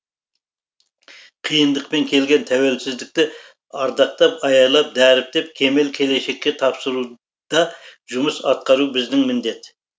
қиындықпен келген тәуелсіздікті ардақтап аялап дәріптеп кемел келешекке тапсыруда жұмыс атқару біздің міндет